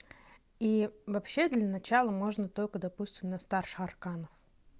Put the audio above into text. и вообще для начала можно только допустим на старших арканов